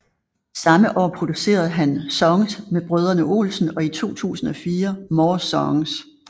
Samme år producerede han Songs med Brødrene Olsen og i 2004 More Songs